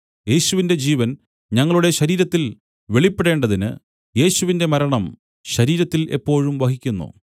യേശുവിന്റെ ജീവൻ ഞങ്ങളുടെ ശരീരത്തിൽ വെളിപ്പെടേണ്ടതിന് യേശുവിന്റെ മരണം ശരീരത്തിൽ എപ്പോഴും വഹിക്കുന്നു